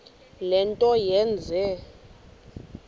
le nto yenze